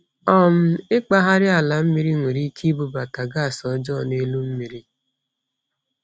um Ịkpagharị ala mmiri nwere ike ibubata gas ọjọọ n’elu mmiri.